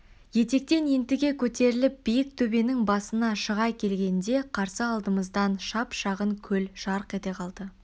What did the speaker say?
етектен ентіге көтеріліп биік төбенің басына шыға келгенде қарсы алдымыздан шап-шағын көл жарқ ете қалды